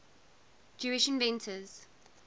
jewish inventors